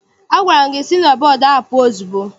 Agwara m gị si na bọọdụ ahụ pụọ ozugbo!